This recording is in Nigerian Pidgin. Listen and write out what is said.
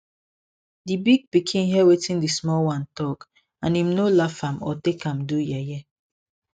di big pikin hear wetin di small one talk and im no laugh am or take am do yeye